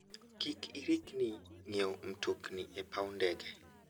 Kik irikni ng'iewo mtokni e paw ndege.